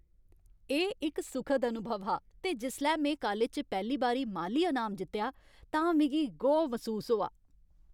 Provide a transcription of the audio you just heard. एह् इक सुखद अनुभव हा ते जिसलै में कालज च पैह्ली बारी माली अनाम जित्तेआ तां मिगी गौह् मसूस होआ।